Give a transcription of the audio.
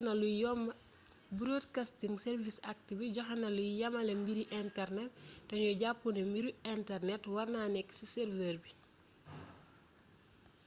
broadcasting service act bi joxéna luy yamalé mbiri internet té gnu japp ni mbiru internet warna nékk ci server bi